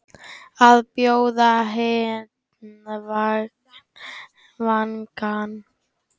Að bjóða hinn vangann